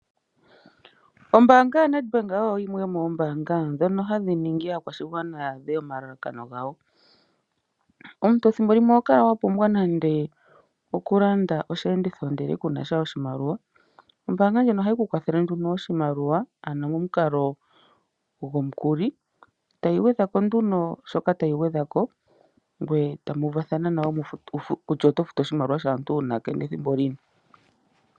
Ombaanga yaNedbank oyo yimwe yomoombaanga ndhono hadhi ningi aakwashigwana ya adhe omalalakano gawo. Omuntu thimbo limwe oho kala wa pumbwa oku landa nande osheenditho ndele kunasha oshimaliwa, ombaanga ndjino ohayi ku kwathele nduno oshimaliwa momukalo gomukuli etayi gwedhako nduno shoka tayi gwedhako ngoye tamu uvathana nayo kutya oto futu oshimaliwa shaantu uunake nethimbo lini.